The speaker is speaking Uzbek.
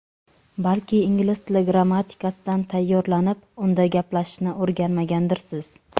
Balki ingliz tili grammatikasidan tayyorlanib, unda gaplashishni o‘rganmagandirsiz?